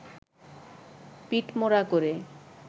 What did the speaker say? পিঠমোড়া করে